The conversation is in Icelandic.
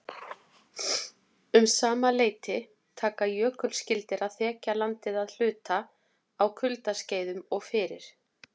Um sama leyti taka jökulskildir að þekja landið að hluta á kuldaskeiðum og fyrir